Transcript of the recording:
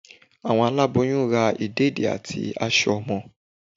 Àwọn àláboyún rá ìdédií atí aṣọ ọmọ